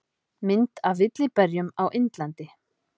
Mynd af villijarðarberjum á Indlandi.